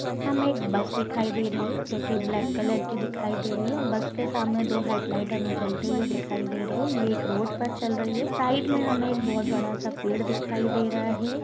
हमे एक बस दिखाई दे रही हैं जो की ब्लैक कलर की दिखाई दे रही हैं बस के सामने दो हेडलाइट्स जलते हुए दिखाई दे रहे हैं ये एक रोड पर चल रही हैं साइड में हमे एक बहुत बड़ा सा पेड़ दिखाई दे रहा हैं।